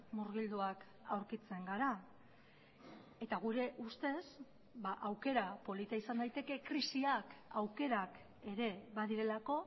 murgilduak aurkitzen gara eta gure ustez aukera polita izan daiteke krisiak aukerak ere badirelako